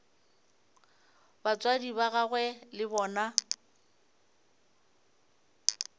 batswadi ba gagwe le bona